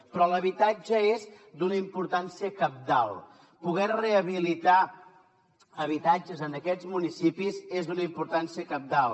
però l’habitatge és d’una importància cabdal poder rehabilitar habitatges en aquests municipis és d’una importància cabdal